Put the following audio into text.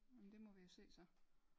Nåh men det må vi jo se så